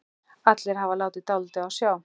Allt hafði látið dálítið á sjá.